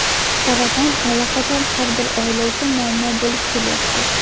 saraton allaqachon har bir oila uchun muammo bo‘lib kelyapti.